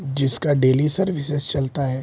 जिसका daily services चलता है।